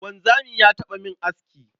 Wanzami ya taɓa min aski.